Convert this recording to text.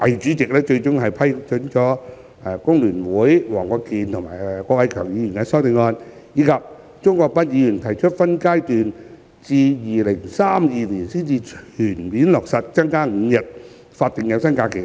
主席最終批准了工聯會黃國健議員及郭偉强議員的修正案，以及鍾國斌議員提出分階段至2032年才全面落實增加5日法定有薪假期的修正案。